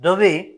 Dɔ be ye